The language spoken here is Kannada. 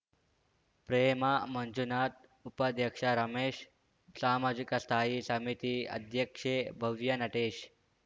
ಪ್ರೇಮ ಮಂಜುನಾಥ್‌ ಉಪಾಧ್ಯಕ್ಷ ರಮೇಶ್‌ ಸಾಮಾಜಿಕ ಸ್ಥಾಯಿ ಸಮಿತಿ ಅಧ್ಯಕ್ಷೆ ಭವ್ಯ ನಟೇಶ್‌